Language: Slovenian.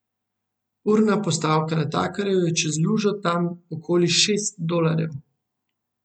Urna postavka natakarjev je čez lužo tam okoli šest dolarjev.